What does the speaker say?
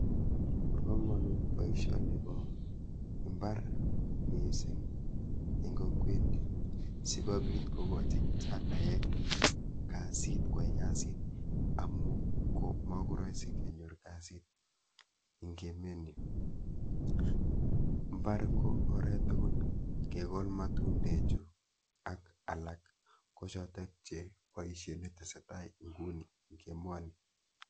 Bo kamanut boisioni bo imbar missing eng kokwet nyu, sikobit kokochi kichanaek kasit, kwai kasit amu ko makoraisi kenyor kasit eng emet nyu. Mbar ko oret tugul, kegol matundechu ak alak ko chotok che boisiet netesetai nguni eng emoni.